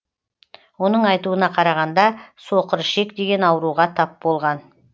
оның айтуына қарағанда соқыр ішек деген ауруға тап болған